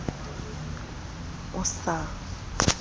ya c ebang o sa